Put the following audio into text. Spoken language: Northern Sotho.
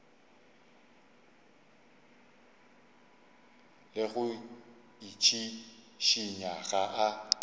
le go itšhišinya ga a